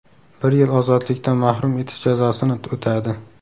Bir yil ozodlikdan mahrum etish jazosini o‘tadi.